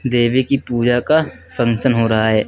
देवी की पूजा का फंक्शन हो रहा है।